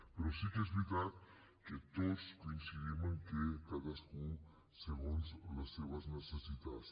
però sí que és veritat que tots coincidim en que a cadascú segons les seves necessitats